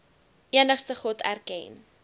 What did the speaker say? enigste god erken